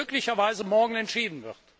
wird möglicherweise morgen entschieden.